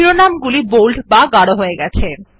শিরোনামগুলি bold হয়ে গেছে